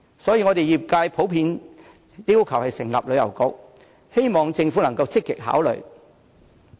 所以，業界普遍要求成立旅遊局，希望政府可以積極考慮。